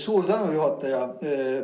Suur tänu, juhataja!